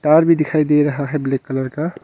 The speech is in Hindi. तार भी दिखाई दे रहा है ब्लैक कलर का।